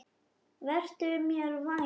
Vertu mér vænn